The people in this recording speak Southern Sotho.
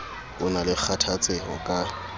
ho na le kgathatseho ka